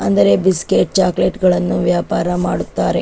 ಅಂದರೆ biscuit chocolate ಗಳನ್ನು ವ್ಯಾಪಾರ ಮಾಡುತ್ತಾರೆ.